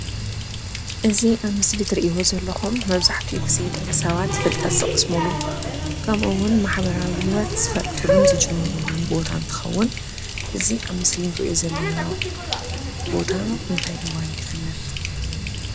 እዚ ኣብ ምስሊ እትሪእዎ ዘለኩም መብዛሕትኡ ግዜ ደቂ ሰባት ፍልጠት ዝቀስምሉ ከምኡ እውን ማሕበራዊ ሂወት ዝፈልጥሉን ዝጅምርሉ ቦታ እንትከውን እዚ ኣብ ምስሊ እንሪኦ ዘለና ቦታ እንታይ ተባሂሉ ይፍለጥ?